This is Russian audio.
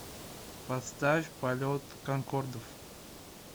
поставь полет конкордов